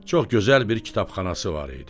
Çox gözəl bir kitabxanası var idi.